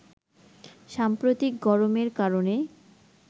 সাম্প্রতিক গরমের কারণে